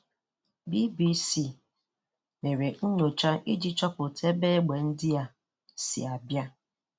BBC mere nyocha iji chọpụta ebe egbe ndịa si a bịa.